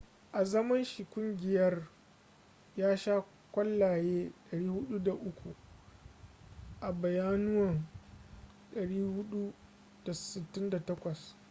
a zaman shi da kungiyar ya sha kwallaye 403 a bayyanuwa 468